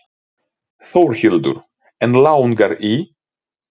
Þórhildur: En langar í?